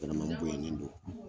N bonyalen don